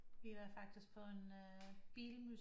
Vi var faktisk på en bilmuseum